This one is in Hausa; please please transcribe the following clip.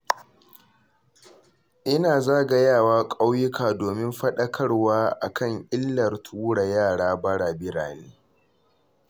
Ina zagayawa ƙauyuka domin faɗarkarwa a kan illar tura yara bara birane